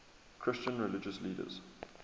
christian religious leaders